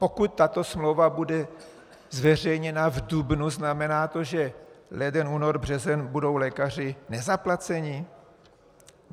Pokud tato smlouva bude zveřejněna v dubnu, znamená to, že leden, únor, březen budou lékaři nezaplaceni?